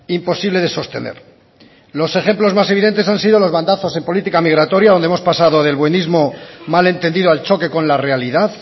imposible de sostener los ejemplos más evidentes han sido los bandazos en política migratoria donde hemos pasado del buenismo mal entendido al choque con la realidad